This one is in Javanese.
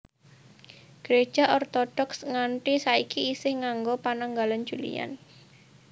Gereja Ortodoks nganthi saiki isih nganggo Pananggalan Julian